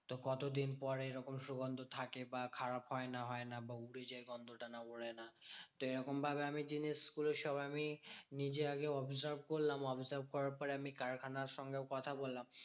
তো কতদিন পরে এরকম সুগন্ধ থাকে? বা খারাপ হয় না হয় না বা উবে যায় গন্ধটা? না ওরে না? তো এরকম আমি জিনিসগুলো সব আমি নিজে আগে observe করলাম। observe করার পরে আমি কারখানার সঙ্গেও কথা বললাম।